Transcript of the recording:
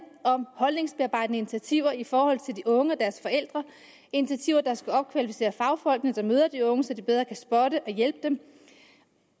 om holdningsbearbejdende initiativer i forhold til de unge og deres forældre initiativer der skal opkvalificere fagfolkene der møder de unge så de bedre kan spotte og hjælpe dem